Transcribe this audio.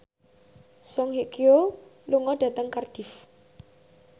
Song Hye Kyo lunga dhateng Cardiff